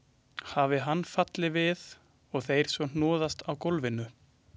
Hafi hann fallið við og þeir svo hnoðast á gólfinu.